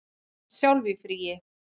Þú ert sjálf í fríi.